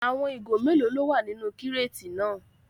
Àwọn ìgò mélòó ló wà nínú kíràtì náà?